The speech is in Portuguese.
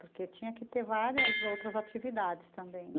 Porque tinha que ter várias outras atividades também.